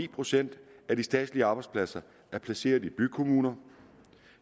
procent af de statslige arbejdspladser er placeret i bykommuner